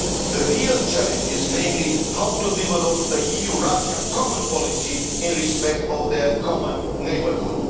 The real challenge is how to develop an EU Russia common policy in respect of their common neighbourhood.